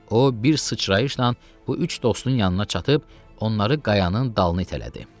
O bir sıçrayışla bu üç dostun yanına çatıb onları qayanın dalına itələdi.